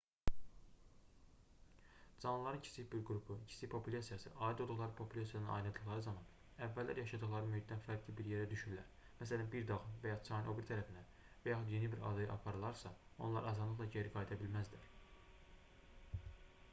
canlıların kiçik bir qrupu kiçik populyasiyası aid olduqları populyasiyadan ayrıldıqları zaman əvvəllər yaşadıqları mühitdən fərqli bir yerə düşürlər məsələn bir dağın və ya çayın o biri tərəfinə və yaxud yeni bir adaya aparılarsa onlar asanlıqla geri qayıda bilməzlər